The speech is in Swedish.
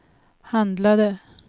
handlade